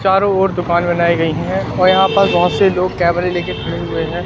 चारों ओर दुकान बनाई गई हैं और यहां पर बहोत से लोग कैमरे लेके खड़े हुए हैं।